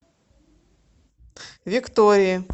виктории